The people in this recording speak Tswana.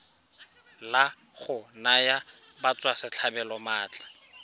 la go naya batswasetlhabelo maatla